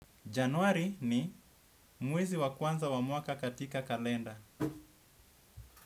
Januari ni muwezi wakuanza wamuaka katika kalenda.